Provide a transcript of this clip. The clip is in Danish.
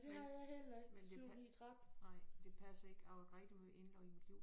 Nej men det nej det passer ikke jeg har været rigtig måj indlagt i mit liv